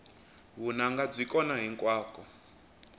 vunanga byi kona hinkwako